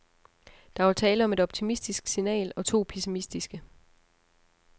Der var tale om et optimistisk signal og to pessimistiske.